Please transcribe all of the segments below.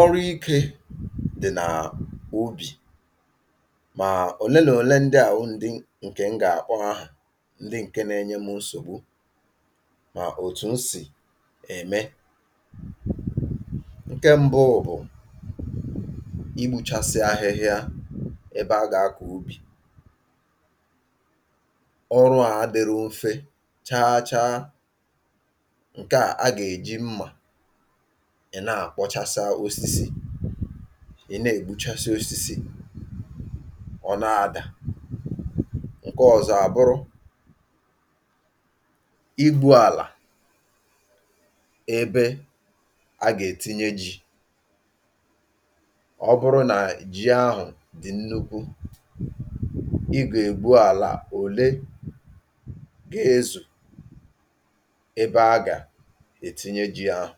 ọrụ ikē dị̀ n’ubì mà òle nà òle ndịà wụ̀ ndị ǹkè n gà-àkpọ àha, ndị ǹke na-enye mụ̄ nsògbu mà òtù n sì ème ǹke m̄bụ̄ bụ̀ igbūchaeị ahịhịa ebe a gà-akọ̀ ubì ọrụà adị̄ru mfe chacha ǹkeà a gà-èji mmà ị̀ na-àkpọchasa osisi ì na-ègbuchasị osisi ọ̀ na-adà, ǹke ọ̀zọ àbụrụ igwū àlà ebe a gà-ètinye jī ọ bụrụ nà ji ahụ̀ dị̀ nnukwū i gà-ègwu àlà òle ga-ezù ebe a gà-ètinye jī ahụ̀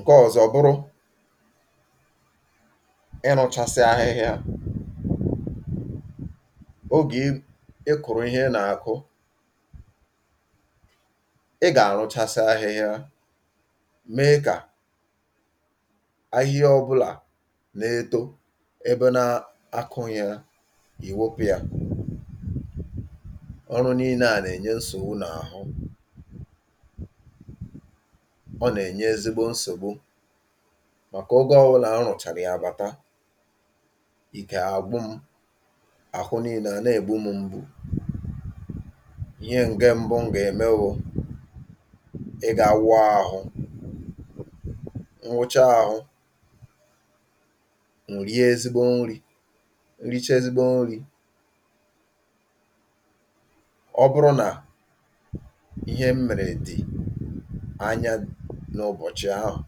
ǹke ọ̀zọ bụrụ ịrụ̄chasị ahịhịa ogè i ị kụ̀rụ̀ ihe ị nà-àkụ ị gà-àrụchasị ahịhịa mee kà ahịahịa ọ̄bụ̄là na-eto ebe na-akụghị̄ ya ì wopụ̄ ya ọrụ niine à nà-ènye nsògbu n’àhụ ọ nà-ènye ezigbo nsògbu màkà ogē ọwụlà n rụ̀chàrà yà bàta ike àgwụ m̄ àhụ niinē à na-ègbum̄ mgbu, ihe ǹke m̄bụ̄ n gà-ème wụ̄ ịgā wụọ āhụ̄, n wụcha āhụ̄ ǹ rie ezigbo nrī n riche ezigbo nrī ọ bụrụ nà ihe m mèrè dị̀ anya n’ụbọ̀chị̀ ahụ̀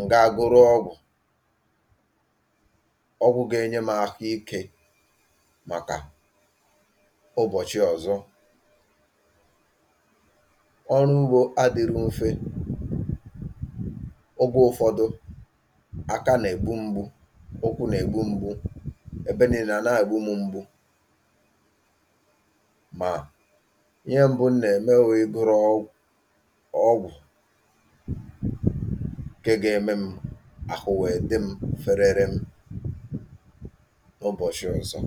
ǹ gaa goro ọgwụ̀ ọgwụ̄ ga-enye m̄ ahụ ikē màkà ụbọ̀chị ọ̀zọ ọrụ ugbō adīru mfe ogē ụfọdụ aka nà-ègbum̄ mgbu ụkwụ nà-ègbum̄ mgbu ebe niinē à na-ègbum̄ mgbu mà ihe m̄bụ̄ n nà-ème wụ igōrō ọ ọgwụ̀ ǹke ga-emem̄ àhụ wèe dịm̄ fererem ụbọ̀shị ọ̀zọ